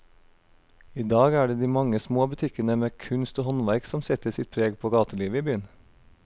I dag er det de mange små butikkene med kunst og håndverk som setter sitt preg på gatelivet i byen.